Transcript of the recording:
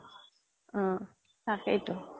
অ তাকেইটো